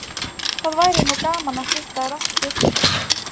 Það væri nú gaman að hitta þær aftur